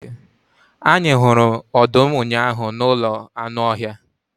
Anyị hụrụ ọdụm ụnyahụ n'ụlọ anụ ọhịa.